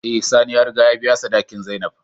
Eh sani ya riga ya biya sadaki zainab.